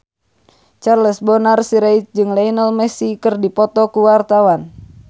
Charles Bonar Sirait jeung Lionel Messi keur dipoto ku wartawan